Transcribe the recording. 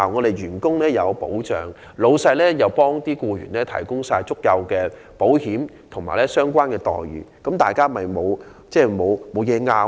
僱員既得到保障，老闆也為僱員提供足夠的保險和相關待遇，這樣雙方便沒有甚麼可爭拗。